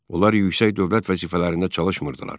Onlar yüksək dövlət vəzifələrində çalışmırdılar.